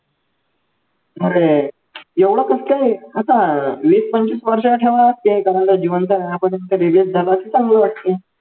अरे एवढं कसं काय आता वीस पंचवीस वर्ष ठेवणार जिवंत राहण्यापर्यंत release झाला तर चांगलं वाटतंय